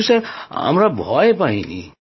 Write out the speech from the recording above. কিন্তু স্যার আমরা ভয় পাইনি